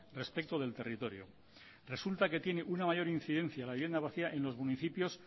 respecto del territorio resulta que tiene una mayor incidencia la vivienda vacía en los municipios